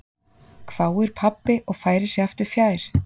hváir pabbi og færir sig aftur fjær.